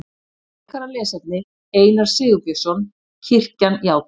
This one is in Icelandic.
Frekara lesefni Einar Sigurbjörnsson: Kirkjan játar.